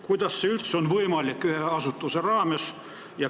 Kuidas see üldse on ühe asutuse raames võimalik?